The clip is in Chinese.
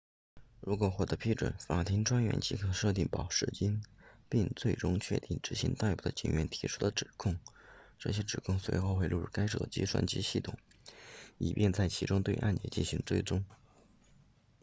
如果获得批准法庭专员即可设定保释金并最终确定执行逮捕的警员提出的指控这些指控随后会录入该州的计算机系统以便在其中对案件进行追踪